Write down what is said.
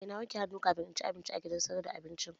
Eh na wanke hannu kamin in ci abinci a gidan sayar da abincin